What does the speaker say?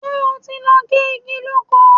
Ṣé o ti lọ gé igi lóko?